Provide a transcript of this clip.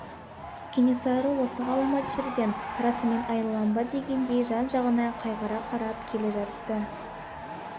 кенесары осы ғаламат жерден расымен айрылам ба дегендей жан-жағына қайғыра қарап келе жатты